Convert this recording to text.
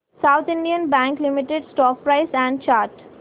south Indian Bank Limited stock price and chart